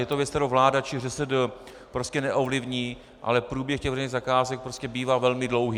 Je to věc, kterou vláda či ŘSD prostě neovlivní, ale průběh těch veřejných zakázek prostě bývá velmi dlouhý.